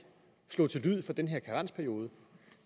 slog til lyd for den her karensperiode